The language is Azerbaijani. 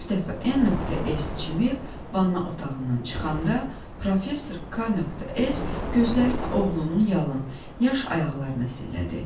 Bir dəfə N.S. çimib vannaa otağından çıxanda, professor K.S. gözlərini oğlunun yalın, yaş ayaqlarına zillədi.